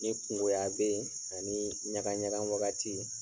Ni kungoya bɛ yen ani ɲaga ɲaga wagati